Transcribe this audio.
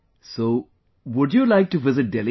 So, would you like to visit Delhi